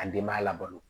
Ka denbaya labalo